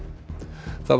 það var